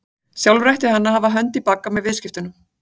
Sjálfur ætti hann að hafa hönd í bagga með viðskiptunum.